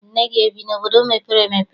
Nne gị ebi n'obodo mepere emepe?